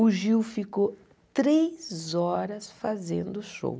O Gil ficou três horas fazendo o show.